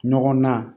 Ɲɔgɔn na